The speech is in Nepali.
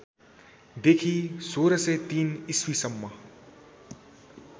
देखि १६०३ इस्वीसम्म